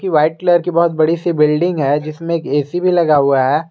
ये white colour की बहोत बड़ी सी बिल्डिंग है जिसमें एक ए_सी भी लगा हुआ है।